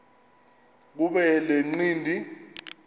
kuba le ncindi